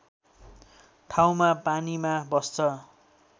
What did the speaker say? ठाउँमा पानीमा बस्छ